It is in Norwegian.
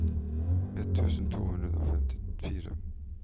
ett tusen to hundre og femtifire